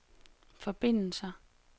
forbindelser